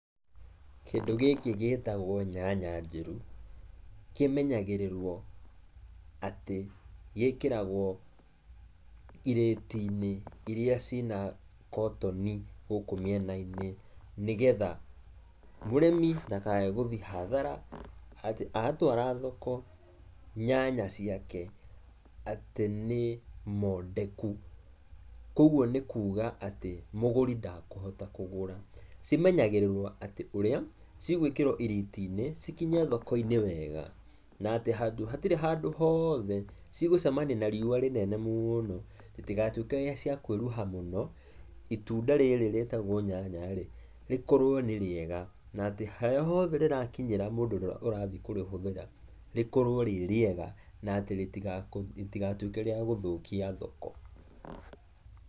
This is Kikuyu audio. Kĩndu gĩkĩ gĩtagwo nyanya njeru, kĩmenyagĩrĩrwo ati gĩkĩragwo irĩti-inĩ iria cina kotini gũkũ mĩena-inĩ, nĩgetha mũrimĩ ndakage gũthiĩ hathara atĩ atwara thoko nyanya ciake atĩ nĩ mondeku. Kugwo nĩ kuga atĩ, mũgũri ndakuhota kũgũra, cimenyagĩrĩrwo atĩ ũrĩa, cigwikĩrwo irĩti-inĩ cikinye thoko-inĩ wega na atĩ handũ hatirĩ handũ hothe cigũcemania na riũa rĩnene mũno itiga tuĩke cia kwĩruha mũno, itunda rĩrĩ rĩtagwo nyanya rĩkorwo nĩrĩega na atĩ harĩa hothe rĩrakinyĩra mũndũ ukũrĩhũthĩra rĩkorwo rĩrĩega atĩ rĩtiga tuĩke rĩa gũthũkia thoko.